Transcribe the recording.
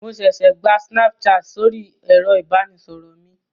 Mo ṣẹṣẹ gba Snapchat sóri ẹ̀rọ ìbánisọ̀rọ̀ mi.